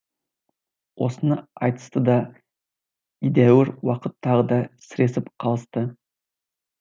осыны айтысты да едәуір уақыт тағы да сіресіп қалысты